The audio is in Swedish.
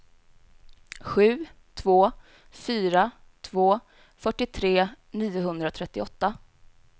sju två fyra två fyrtiotre niohundratrettioåtta